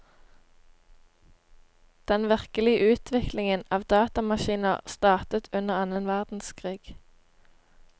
Den virkelige utviklingen av datamaskiner startet under annen verdenskrig.